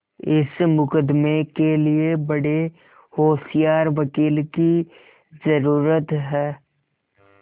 इस मुकदमें के लिए बड़े होशियार वकील की जरुरत है